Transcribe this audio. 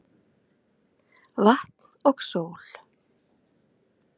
Vatn og sól